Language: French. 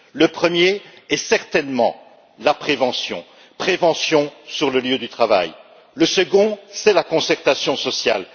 Le premier est certainement la prévention sur le lieu du travail, le second c'est la concertation sociale.